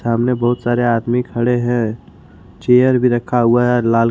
सामने बहुत सारे आदमी खड़े हैं चेयर भी रखा हुआ है लाल ।